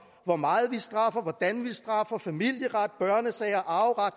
hvor meget vi straffer hvordan vi straffer familieret børnesager arveret